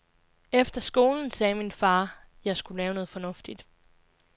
Efter skolen sagde min far, jeg skulle lave noget fornuftigt.